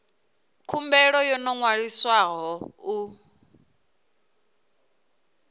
khumbelo yo no ṅwaliswaho u